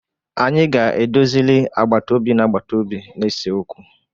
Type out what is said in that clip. Anyi ga-edozili agbatobi na-agbatobi na-ese okwu.